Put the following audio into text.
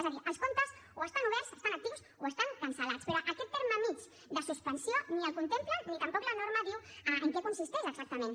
és a dir els comptes o estan oberts estan actius o estan cancel·lats però aquest terme mig de suspensió ni el contemplen ni tampoc la norma diu en què consisteix exactament